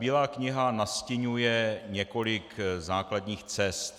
Bílá kniha nastiňuje několik základních cest.